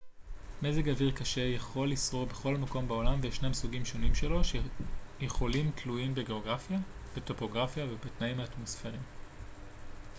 מזג אוויר קשה יכול לשרור בכל מקום בעולם וישנם סוגים שונים שלו שיכולים תלויים בגאוגרפיה בטופוגרפיה ובתנאים האטמוספריים